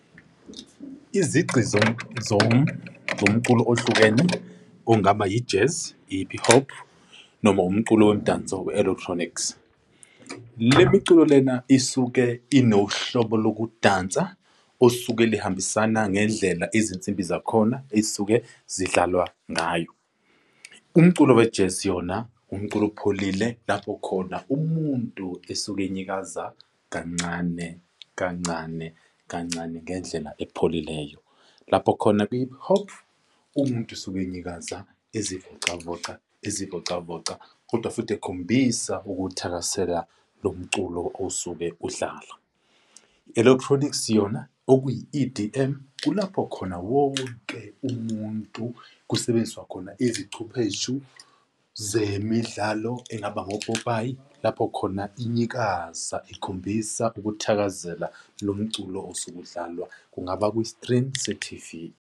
Izici zomculo ohlukene ongaba i-jazz, i-hip hop noma umculo womdanso i-electronics. Le miculo lena isuke inohlobo lokudansa osuke lihambisana ngendlela izinsimbi zakhona ey'suke zidlalwa ngayo. Umculo we-jazz yona umculo opholile lapho khona umuntu esuke inyikaza kancane, kancane, kancane ngendlela ephelileyo. Lapho khona kwi-hip hop umuntu usuke inyikaza ezivocavoca, ezivocavoca, kodwa futhi ekhombisa ukuthakasela lo mculo osuke udlala. Electronics yona okuyi-E_D_M, kulapho khona wonke umuntu kusebenziswa khona izicupheshu zemidlalo engaba ngopopayi lapho khona inyikaza ikhombisa ukuthakazela lo mculo osuke udlalwa, kungaba kwi-screen sethivi.